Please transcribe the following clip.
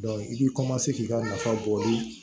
i bɛ k'i ka nafa bɔli